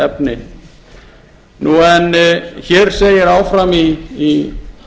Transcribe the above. efni en hér segir áfram í